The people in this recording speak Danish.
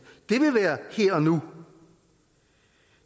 det ville være her og nu